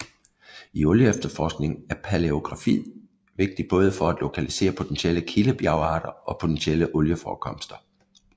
I olieefterforkning er paleogeografi vigtig både for at lokalisere potentielle kildebjergarter og potentielle olieforekomster